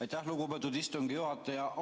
Aitäh, lugupeetud istungi juhataja!